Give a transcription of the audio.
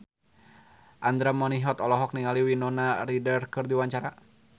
Andra Manihot olohok ningali Winona Ryder keur diwawancara